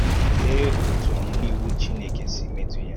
Lee otú ọmụ̀mụ̀ Iwu Chineke si metụ̀ ya!